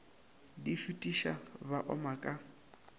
di šutiša ba oma ka